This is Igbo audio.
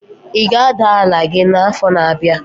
Ị ga-ada ala gị n'afọ na-abịa?